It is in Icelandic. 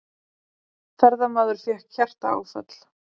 Ferðamaður fékk hjartaáfall